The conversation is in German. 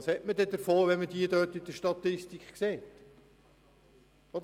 Was hätte man davon, wenn diese in der Statistik erscheinen würden?